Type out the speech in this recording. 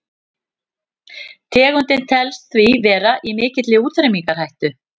tegundin telst því vera í mikilli útrýmingarhættu